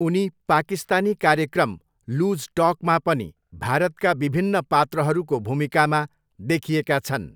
उनी पाकिस्तानी कार्यक्रम लुज टकमा पनि भारतका विभिन्न पात्रहरूको भूमिकामा देखिएका छन्।